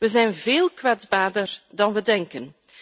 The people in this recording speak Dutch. We zijn veel kwetsbaarder dan we denken.